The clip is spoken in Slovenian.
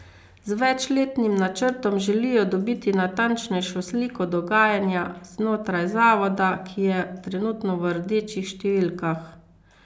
Z večletnim načrtom želijo dobiti natančnejšo sliko dogajanja znotraj zavoda, ki je trenutno v rdečih številkah.